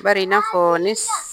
Bari i n'a fɔɔ ne s